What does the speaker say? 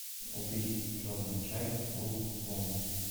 купить черный чай брук бонд